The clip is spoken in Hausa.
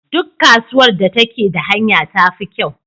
Duk kasuwar da take da hanya tafi kyau.